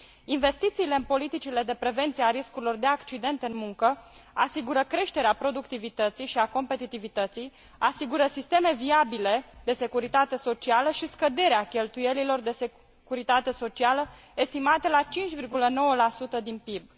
Investițiile în politicile de prevenire a riscurilor de accident în muncă asigură creșterea productivității și a competitivității, asigură sisteme viabile de securitate socială și scăderea cheltuielilor de securitate socială, estimate la 5,9 din PIB.